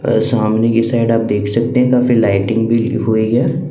सामने की साइड आप देख सकते हैं काफी लाइटिंग भी हुई है।